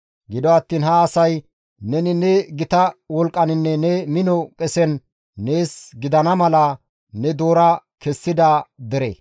Gido attiin ha asay neni ne gita wolqqaninne ne mino qesen nees gidana mala ne doora kessida dere.